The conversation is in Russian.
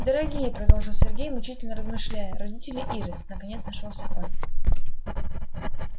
дорогие продолжил сергей мучительно размышляя родители иры наконец нашёлся он